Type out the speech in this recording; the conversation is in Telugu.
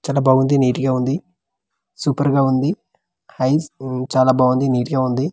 చాలా బాగుంది నిట్ గా ఉంది సూపర్ గా ఉంది ఐస్ ఊ చాలా బాగుంది నిట్ గా ఉంది.